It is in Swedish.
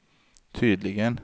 tydligen